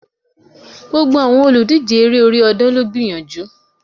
Gbogbo àwọn olùdíje Eré orí ọ̀dàn ló gbìyànjú